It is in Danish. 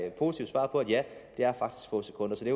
et positivt svar på at ja det er faktisk få sekunder så det